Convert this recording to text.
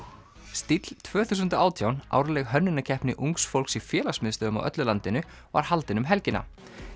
stíll tvö þúsund og átján árleg hönnunarkeppni ungs fólks í félagsmiðstöðvum á öllu landinu var haldin um helgina